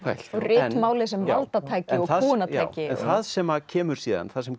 og ritmálið sem valdatæki og kúgunartæki en það sem kemur síðan það sem